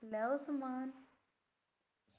ਲਉ ਸਮਾਨ